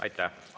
Aitäh!